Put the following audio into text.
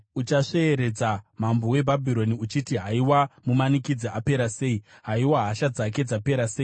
uchasveeredza mambo weBhabhironi uchiti: Haiwa, mumanikidzi apera sei! Haiwa, hasha dzake dzapera sei!